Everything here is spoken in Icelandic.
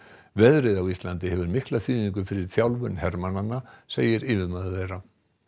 veðrið á Íslandi hefur mikla þýðingu fyrir þjálfun hermannanna segir yfirmaður þeirra